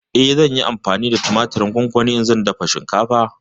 Eh, zan yi amfani da tumatirin gongoni idan zan dafa shinkafa.